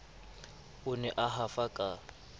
o ne a hafa ka